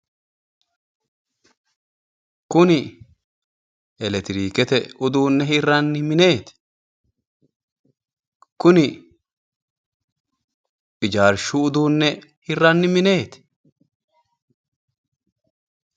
Kuni eletiriikete uduunne hirranni mineeti? Kuni ijaarshu uduunne hirranni mineeti?